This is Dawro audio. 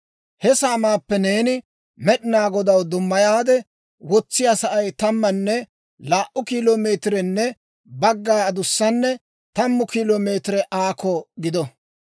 «He saamaappe neeni Med'inaa Godaw dummayaade wotsiyaa sa'ay tammanne laa"u kilo meetirenne bagga adussanne tammu kilo meetire aakko gido.